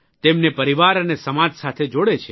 તેમને પરિવાર અને સમાજ સાથે જોડે છે